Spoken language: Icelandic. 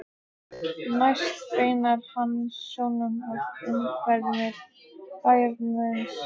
Næst beinir hann sjónum að umhverfi bæjarins.